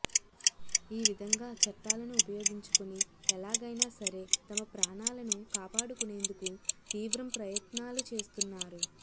ఈ విధంగా చట్టాలను ఉపయోగించుకుని ఎలాగైనా సరే తమ ప్రాణాలను కాపాడుకునేందుకు తీవ్రం ప్రయత్నాలు చేస్తున్నారు